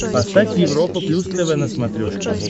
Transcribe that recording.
поставь европа плюс тв на смотрешке